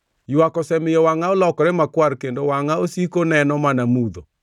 Ywak osemiyo wangʼa olokore makwar, kendo wangʼa osiko neno mana mudho;